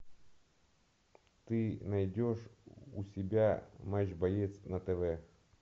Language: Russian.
ты найдешь у себя матч боец на тв